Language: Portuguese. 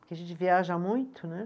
Porque a gente viaja muito, né?